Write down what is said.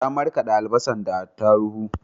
Ta marƙade albasan da atarubu